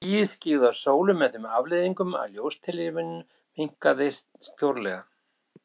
Skýið skyggði á sólu með þeim afleiðingum að ljóstillífun minnkaði stórlega.